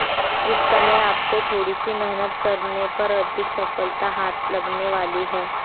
इस समय आपको थोड़ी सी मेहनत करने पर अधिक सफलता हाथ लगने वाली है